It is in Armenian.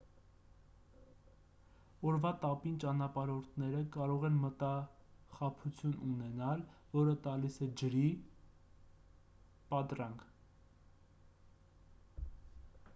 օրվա տապին ճանապարհորդները կարող են մտախաբություն ունենալ որը տալիս է ջրի կամ այլ բաների պատրանք: